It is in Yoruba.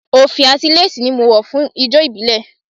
Òfì àti léèsì ni mo wọ̀ fún ijó ìbílẹ̀